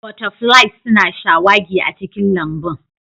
Butterflies suna shawagi a cikin lambun